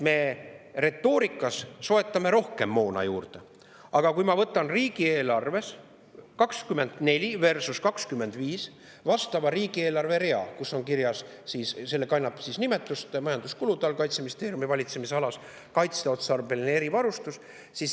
Me retoorikas soetame rohkem moona juurde, aga vaatame riigieelarves 2024 versus riigieelarves 2025 vastavat rida, mis asub majanduskulude all Kaitseministeeriumi valitsemisalas ja kannab nimetust "Kaitseotstarbeline erivarustus".